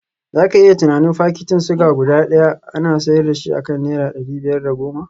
Za ka iya tunanin fakitin suga guda daya ana sayar da shi akan naira dari biyar da goma